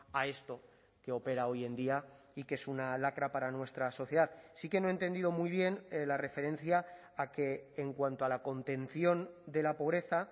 a esto que opera hoy en día y que es una lacra para nuestra sociedad sí que no he entendido muy bien la referencia a que en cuanto a la contención de la pobreza